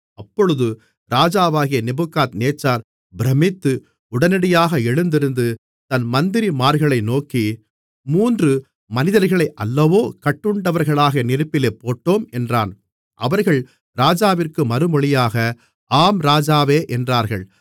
அப்பொழுது ராஜாவாகிய நேபுகாத்நேச்சார் பிரமித்து உடனடியாக எழுந்திருந்து தன் மந்திரிமார்களை நோக்கி மூன்று மனிதர்களை அல்லவோ கட்டுண்டவர்களாக நெருப்பிலே போட்டோம் என்றான் அவர்கள் ராஜாவிற்கு மறுமொழியாக ஆம் ராஜாவே என்றார்கள்